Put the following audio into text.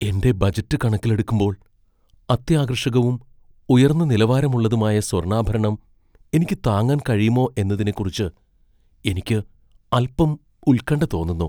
എന്റെ ബജറ്റ് കണക്കിലെടുക്കുമ്പോൾ, അത്യാകർഷകവും , ഉയർന്ന നിലവാരമുള്ളതുമായ സ്വർണ്ണാഭരണം എനിക്ക് താങ്ങാൻ കഴിയുമോ എന്നതിനെക്കുറിച്ച് എനിക്ക് അൽപ്പം ഉൽക്കണ്ഠ തോന്നുന്നു.